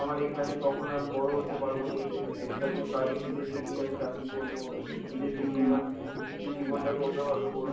আমার এখানে কখনো আমি বড় হতে পারব না এই দেশে থেকে, তাই জন্য বাইরে বিদেশে গিয়ে আমি চাকরি করব, বিদেশে গিয়ে মা~ নিজের জীবনটাকে অন্যভাবে গরব